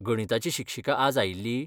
गणिताची शिक्षिका आज आयिल्ली?